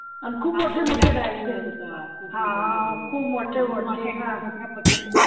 अन खूप मोठे मोठे राहायचे हा खूप मोठे मोठे